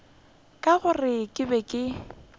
ka gore ke be ke